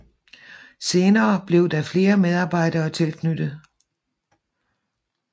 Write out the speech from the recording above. Senere blev der flere medarbejdere tilknyttet